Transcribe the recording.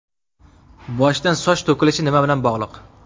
Boshdan soch to‘kilishi nima bilan bog‘liq?